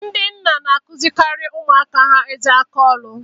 Ndị nna na akụzirikari ụmụaka ha ezi aka ọrụ.